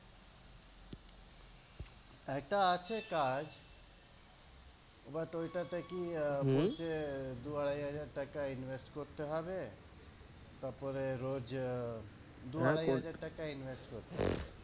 একটা আছে কাজ but ঐ টা তে কি ঐ যে দু আড়াই হাজার টাকা invest করতে হবে তারপরে রোজ আহ দু আড়াই হাজার টাকা invest করতে হবে